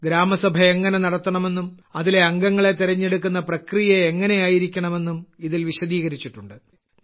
ഗ്രാമസഭ എങ്ങനെ നടത്തണമെന്നും അതിലെ അംഗങ്ങളെ തെരഞ്ഞെടുക്കുന്ന പ്രക്രിയ എങ്ങനെയായിരിക്കണമെന്നും ഇതിൽ വിശദീകരിച്ചിട്ടുണ്ട്